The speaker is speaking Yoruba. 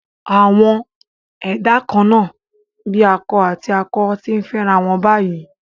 Àwọn ẹ̀dá kan-án-nà bíi akọ àti akọ ti ń fẹ́rawọn báyìí